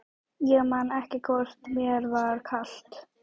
Ég man ekki hvort mér var kalt.